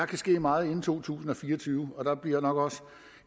kan ske meget inden to tusind og fire og tyve og der bliver nok